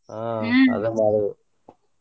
ಹ್ಮ ಅದ ಮಾಡಿದೆ.